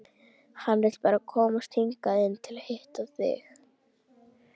Hann vill bara komast hingað inn til að hitta þig.